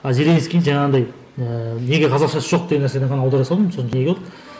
а зеленский жаңағындай ііі неге қазақшасы жоқ деген нәрседен ғана аудара салдым